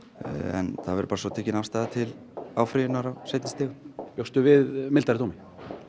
en það verður tekin afstaða til áfrýjunar á seinni stigum bjóstu við vægari dómi